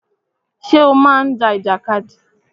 Ṣé o má ń ja ìjàkadì?